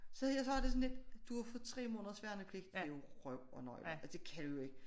Så har jeg det sådan lidt du har fået 3 månders værnepligt det er jo røv og nøgler altså det kan du jo ikke